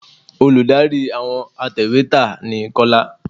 Olùdarí àwọn atẹ̀wẹ́tà ni Kọ́lá